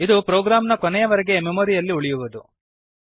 ಇದು ಪ್ರೊಗ್ರಾಂನ ಕೊನೆಯವರೆಗೆ ಮೆಮೊರಿಯಲ್ಲಿ ಉಳಿಯುವುದು